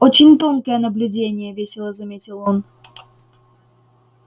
очень тонкое наблюдение весело заметил он